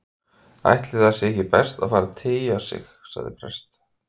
Ætli sé ekki best að fara að tygja sig- sagði prest